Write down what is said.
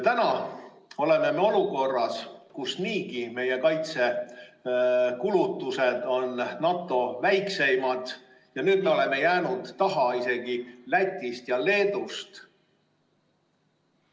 Täna oleme olukorras, kus meie kaitsekulutused on niigi NATO väikseimad, me oleme jäänud maha isegi Lätist ja Leedust.